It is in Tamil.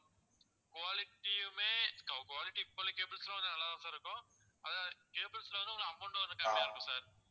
quality யுமே quality இப்பவுள்ள cables ல கொஞ்சம் நல்லாதான் sir இருக்கும். அதான் cables ல வந்து உங்களுக்கு amount வந்து கம்மியா இருக்கும் sir